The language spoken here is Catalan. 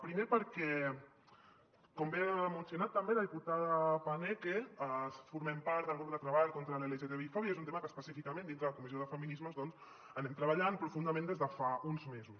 primer perquè com bé ha mencionat també la diputada paneque formem part del grup de treball sobre l’lgtbi fòbia i és un tema que específicament dintre de la comissió de feminismes anem treballant profundament des de fa uns mesos